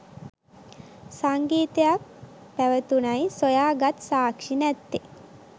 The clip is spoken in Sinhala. සංගීතයක් පැවැතුනයි සොයා ගත් සාක්ෂි නැත්තෙ.